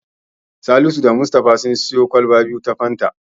Salisu da Mustapha sun siyo kwalba biyu ta Fanta.